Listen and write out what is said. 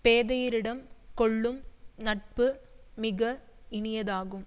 பேதையரிடம் கொள்ளும் நட்பு மிக இனியதாகும்